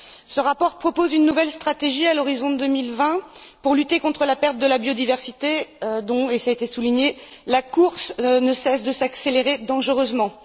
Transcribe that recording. Ce rapport propose une nouvelle stratégie à l'horizon de 2020 pour lutter contre la perte de la biodiversité, dont et cela a été souligné la course ne cesse de s'accélérer dangereusement.